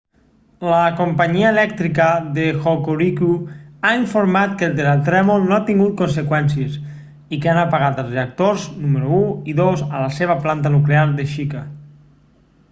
la companyia elèctrica de hokoriku ha informat que el terratrèmol no ha tingut conseqüències i que han apagat els reactors número 1 i 2 a la seva planta nuclear de shika